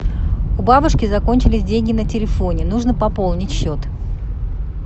у бабушки закончились деньги на телефоне нужно пополнить счет